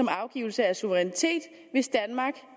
afgivelse af suverænitet hvis danmark